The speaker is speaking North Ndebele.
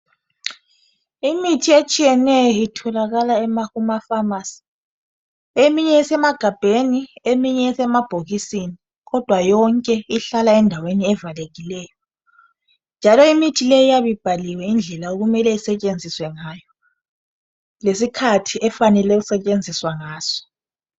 Imithi etshiyeneyo itholakala kumafamasi eminye isemagabheni eminye isemabhokisini kodwa yonke ihlala endaweni evalekileyo njalo imithi leyi iyabe ibhaliwe indlela okumele isetshenziswe ngayo lesikhathi efanele ukusetshenziswa ngaso.